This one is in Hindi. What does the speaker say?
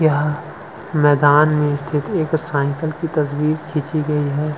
यह मैदान में एक साइकिल की तस्वीर खींची गई है।